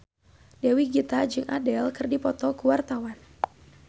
Dewi Gita jeung Adele keur dipoto ku wartawan